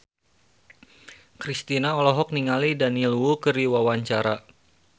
Kristina olohok ningali Daniel Wu keur diwawancara